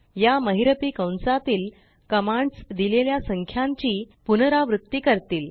या महिरपी कंसातीलकमांड्स दिलेल्या संख्यांची पुनरावृत्ती करतील